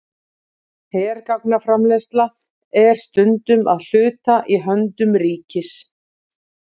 Hergagnaframleiðsla er stundum að hluta í höndum ríkisins.